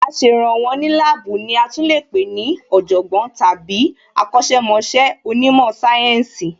Aṣèrànwọ́ ní láàbù ní a tún lè pé ní Ọ̀jọ̀gbọ́n tàbí akọ̀sẹ̀ mọṣẹ́ onímò sáyẹ́ǹsì